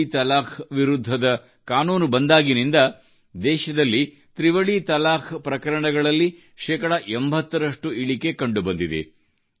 ತ್ರಿವಳಿ ತಲಾಖ್ ವಿರುದ್ಧದ ಕಾನೂನು ಬಂದಾಗಿನಿಂದ ದೇಶದಲ್ಲಿ ತ್ರಿವಳಿ ತಲಾಖ್ ಪ್ರಕರಣಗಳಲ್ಲಿ ಶೇಕಡಾ 80 ರಷ್ಟು ಇಳಿಕೆ ಕಂಡುಬಂದಿದೆ